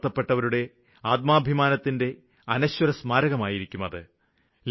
അടിച്ചമര്ത്തപ്പെട്ടവരുടെ ആത്മാഭിമാനത്തിന്റെ അനശ്വര സ്മാരകമായിരിക്കും അത്